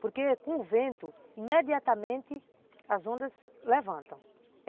Porque com o vento, imediatamente, as ondas levantam.